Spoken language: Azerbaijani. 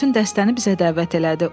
Sonra bütün dəstəni bizə dəvət elədi.